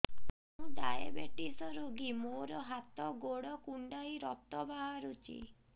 ମୁ ଡାଏବେଟିସ ରୋଗୀ ମୋର ହାତ ଗୋଡ଼ କୁଣ୍ଡାଇ ରକ୍ତ ବାହାରୁଚି